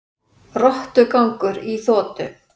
Rottugangur í þotu